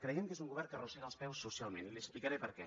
creiem que és un govern que arrossega els peus socialment li explicaré per què